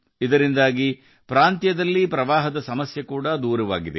ಇದರಿಂದ ಆ ಪ್ರದೇಶದಲ್ಲಿನ ಪ್ರವಾಹ ಸಮಸ್ಯೆಯೂ ಬಗೆಹರಿದಿದೆ